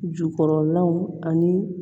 Jukɔrɔlaw ani